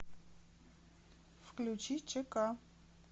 включи чк